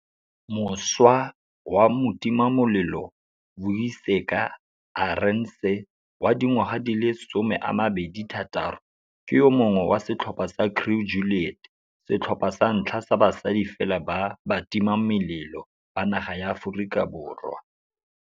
Mošwa wa motimamelelo Vuyiseka Arendse, wa dingwaga di le 26, ke yo mongwe wa setlhopha sa Crew Juliet, setlhopha sa ntlha sa basadi fela ba batimamelelo ba naga ya Aforika Borwa.